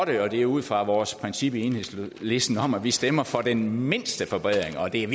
det og det er ud fra vores princip i enhedslisten om at vi stemmer for den mindste forbedring og det er